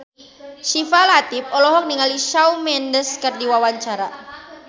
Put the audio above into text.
Syifa Latief olohok ningali Shawn Mendes keur diwawancara